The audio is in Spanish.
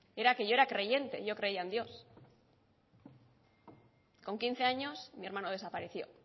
era que yo era creyente yo creía en dios con quince años mi hermano desapareció